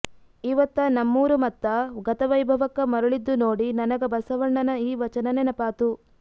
ಇವತ್ತ ನಮ್ಮೂರು ಮತ್ತ ಗತವೈಭವಕ್ಕ ಮರಳಿದ್ದು ನೋಡಿ ನನಗ ಬಸವಣ್ಣನ ಈ ವಚನ ನೆನಪಾತು